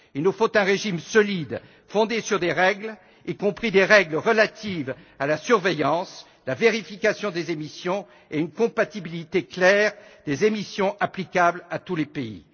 Il nous faut un régime solide, fondé sur des règles y compris des règles relatives à la surveillance, la vérification des émissions et une compatibilité claire des émissions applicables à tous les pays.